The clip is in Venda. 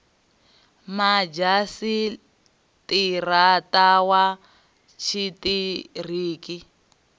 madzhisi ṱira ṱa wa tshiṱiriki